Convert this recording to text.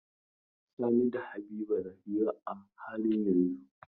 Sani da Habiba na hira a halin yanzun.